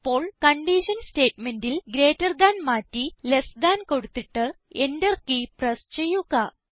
ഇപ്പോൾ കൺഡീഷൻ സ്റ്റേറ്റ്മെന്റിൽ greater than മാറ്റി ലെസ് താൻ കൊടുത്തിട്ട് Enter കീ പ്രസ് ചെയ്യുക